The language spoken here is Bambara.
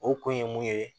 O kun ye mun ye